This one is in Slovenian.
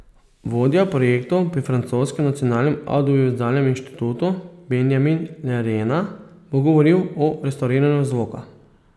Vodja projektov pri francoskem Nacionalnem avdiovizualnem inštitutu Benjamin Lerena bo govoril o restavriranju zvoka.